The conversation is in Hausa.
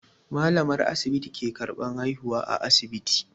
Malamar asibiti ke karban haihuwa a asibiti.